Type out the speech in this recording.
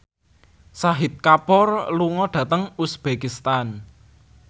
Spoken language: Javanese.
Shahid Kapoor lunga dhateng uzbekistan